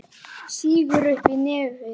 Sýgur upp í nefið.